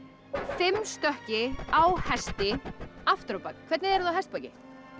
fimm stökki á hesti aftur á bak hvernig eruð þið á hestbaki